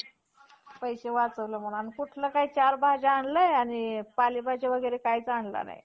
आणि मनू अशी नवे देत होती.